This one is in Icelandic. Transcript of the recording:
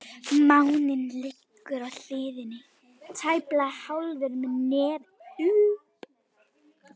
Máninn liggur á hliðinni, tæplega hálfur með nefið upp.